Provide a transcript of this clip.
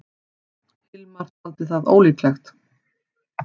Hilmar taldi það ólíklegt.